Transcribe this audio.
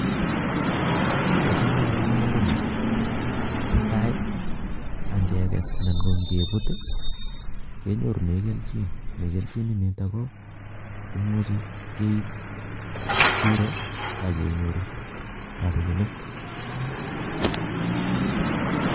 Achame amune ko ni, netai angekes anan ko ngebut kenyorune kerichek negelchini niitok ko imuuchi keib siro akenyoru rabinik